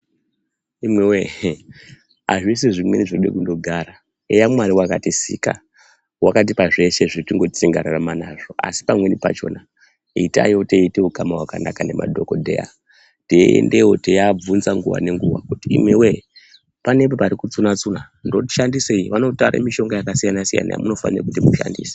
Imwiwoye ihee azvisi zvimweni zvinode kugara eya mwari wakatisika wakatipa zveshe zvekuti tingararama nazvo asi pamweni pachona itai teite ukama hwakanaka nemadhokodheya teiendeyo teivabvunza nguwa nenguwa kuti imwiwoye panenge pari kutsuna tsuna ndoshandisei vanotare mishonga yakasiyana siyana yemunofane kuti mushandise .